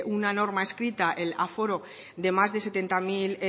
una norma escrita el aforo de más de setenta mil